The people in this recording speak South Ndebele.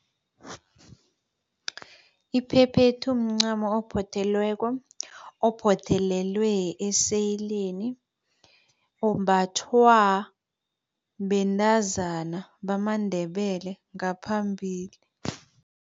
Iphephethu mncamo ophothelweko, ophothelelwe eseyileni ombathwa bentazana bamaNdebele ngaphambili.